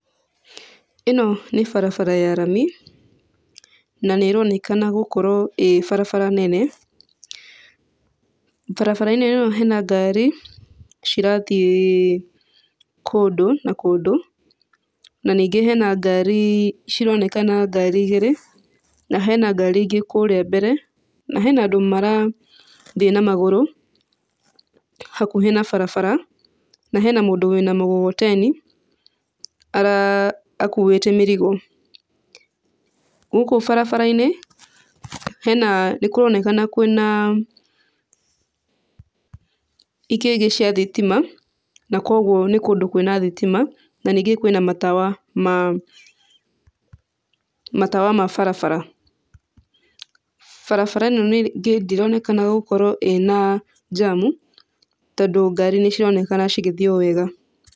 Ĩno nĩ barabara ya rami, na nĩĩronekana gũkorwo ĩ barabara nene. Barabara ĩno hena ngari cirathiĩ kũndũ na kũndũ, na ningĩ hena ngari cironekana ngari igĩrĩ na hena ngari ingĩ kũrĩa mbere, na hena andũ marathiĩ na magũrũ hakuhĩ na barabara, na hena mũndũ wĩna mũgogoteni akuĩte mĩrigo. Gũkũ barabara-inĩ hena, nĩkũronekana kwĩna cia thitima na kuoguo nĩ kũndũ kwĩna thitima. Na ningĩ kwĩna matawa ma matawa ma barabara. Barabara ĩno rĩngĩ ndĩronekana gũkorwo ĩna njamu, tondũ ngari nĩcironekana cigĩthiĩ o wega.